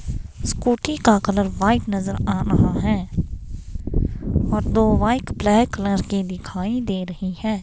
Scooty का colour white नजर आ रहा है और दो वाइट ब्लैक कलर की दिखाई दे रही है.